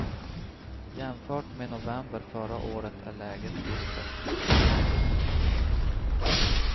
Jämfört med november förra året är läget dystert.